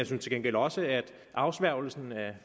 til gengæld også at afsværgelsen af